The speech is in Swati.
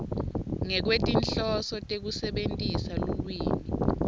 ngekwetinhloso tekusebentisa lulwimi